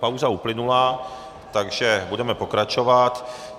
Pauza uplynula, takže budeme pokračovat.